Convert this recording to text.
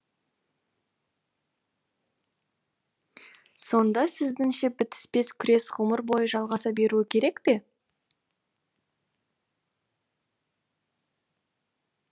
сонда сіздіңше бітіспес күрес ғұмыр бойы жалғаса беруі керек пе